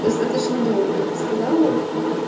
достаточно долго я бы сказала